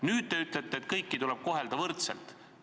Nüüd te ütlete, et kõiki kaubagruppe tuleb kohelda võrdselt.